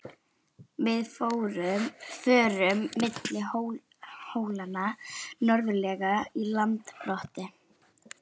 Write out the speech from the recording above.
Við förum milli hólanna norðarlega í Landbroti.